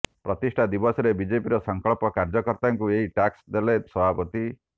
ପ୍ରତିଷ୍ଠା ଦିବସରେ ବିଜେପିର ସଂକଳ୍ପ କାର୍ଯ୍ୟକର୍ତ୍ତାଙ୍କୁ ଏହି ଟାସ୍କ ଦେଲେ ସଭାପତି